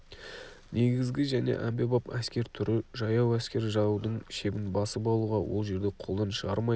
негізгі және әмбебап әскер түрі жаяу әскер жаудың шебін басып алуға ол жерді қолдан шығармай